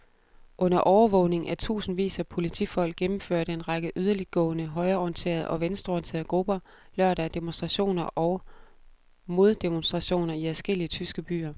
Under overvågning af tusindvis af politifolk gennemførte en række yderligtgående højreorienterede og venstreorienterede grupper lørdag demonstrationer og moddemonstrationer i adskillige tyske byer.